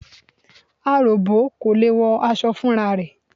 Aròbó kò lè wọ aṣọ fúnra rẹ̀.